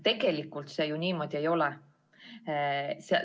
Tegelikult see ju niimoodi ei ole.